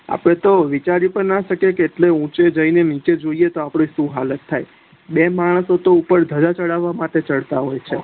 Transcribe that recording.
આપડે તો વિચારી પણ ના શકીએ કે કેટલે ઉચે જઈને નીચે જોઈએ તો સુ હાલત થા બે માણસો તો ઉપર ધજા ચડાવવા માટે ચડતા હોય છે